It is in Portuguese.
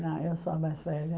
Na eu sou a mais velha.